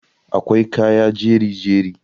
akwai kaya jeri-jeri